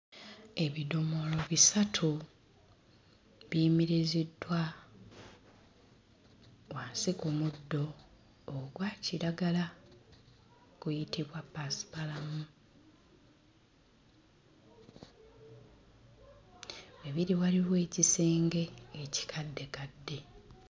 Ebidomola bisatu biyimiriziddwa wansi ku muddo ogwa kiragala guyite gwa ppaasipalamu we biri waliwo ekisenge ekikaddekadde.